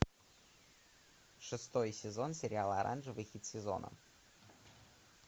шестой сезон сериала оранжевый хит сезона